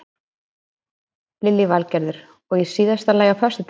Lillý Valgerður: Og í síðasta lagi á föstudaginn?